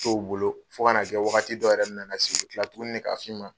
To u bolo fo ka na kɛ wagati dɔw yɛrɛ bɛ nana se u bɛ tila tuguni k'a fɔ i ma.